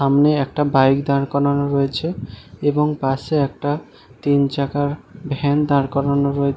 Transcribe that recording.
সামনে একটা বাইক দাঁড় করানো রয়েছে। এবং পাশে একটা তিনচাকার ভ্যান দাঁড় করানো রয়েছে ।